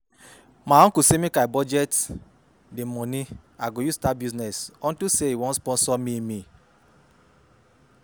My uncle say make I budget di money I go use start business unto say e wan sponsor me